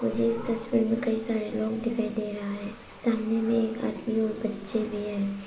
मुझे इस तस्वीर में कई सारे लोग दिखाई दे रहा है। सामने में एक आदमी और बच्चे भी हैं।